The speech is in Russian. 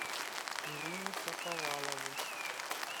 ирину шаповалову